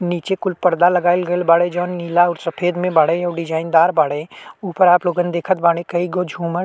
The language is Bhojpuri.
नीचे कुल पर्दा लगाइल गईल बाड़े। जोवन नीला और सफ़ेद में बाड़े। अउ डिज़ाइनदार बाड़े। ऊपर आप लोग देखत बानी कई गो झूमर --